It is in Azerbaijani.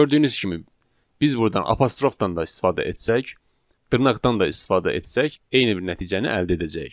Bəli, gördüyünüz kimi, biz burdan apostrofdan da istifadə etsək, dırnaqdan da istifadə etsək, eyni bir nəticəni əldə edəcəyik.